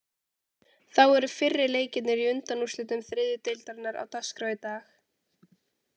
Þá eru fyrri leikirnir í undanúrslitum þriðju deildarinnar á dagskrá í dag.